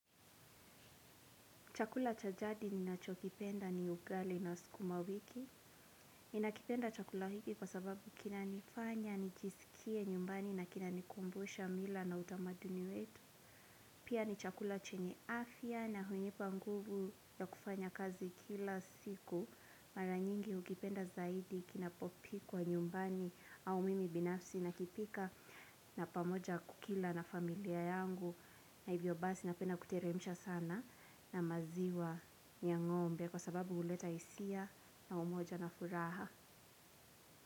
Chakula cha jadi ninacho kipenda ni ugali na skuma wiki. Ni nakipenda chakula hiki kwa sababu kina nifanya, nijisikie nyumbani na kina nikumbusha mila na utamaduni wetu. Pia ni chakula chenye afya na hunipa nguvu ya kufanya kazi kila siku. Mara nyingi ukipenda zaidi kinapopikwa nyumbani au mimi binafsi nakipika. Na pamoja kukila na familia yangu na hivyo basi napenda kuteremisha sana na maziwa ya ng'ombe kwa sababu uleta isia na umoja na furaha.